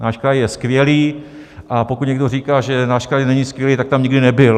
Náš kraj je skvělý, a pokud někdo říká, že náš kraj není skvělý, tak tam nikdy nebyl.